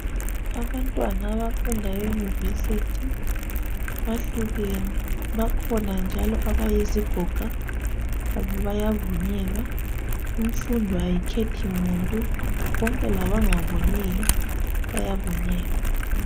Abantwana abafunda eyunivesithi bahlukene bakhona njalo abayizigoga labo bayavinyelwa. Imfundo ayikhethi muntu bonke labangaboniyo bayavunyelwa.